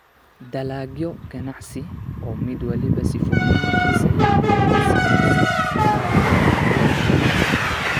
dalagyo ganacsi oo mid waliba sifooyinkiisa iyo adeegsigiisa gaarka ah leeyahay.